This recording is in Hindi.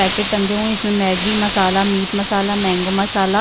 पैकेट टंगे हुए है इसमें Maggi masala meat masala mango मसाला--